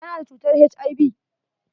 Ta na da cutar HIV.